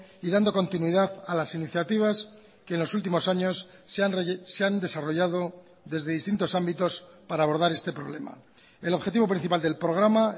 y dando continuidad a las iniciativas que en los últimos años se han desarrollado desde distintos ámbitos para abordar este problema el objetivo principal del programa